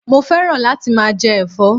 Mo féràn láti máa je èfó